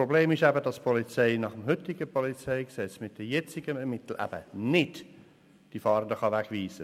Das Problem ist eben, dass die Polizei nach heutigem PolG mit den jetzigen Mitteln die Fahrenden eben nicht wegweisen kann.